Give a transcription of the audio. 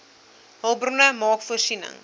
hulpbronne maak voorsiening